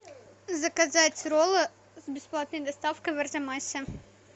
заказать роллы с бесплатной доставкой в арзамасе